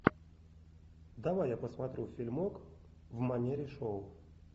давай я посмотрю фильмок в манере шоу